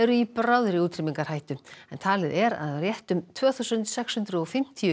í bráðri útrýmingarhættu en talið er að rétt um tvö þúsund og sex hundruð og fimmtíu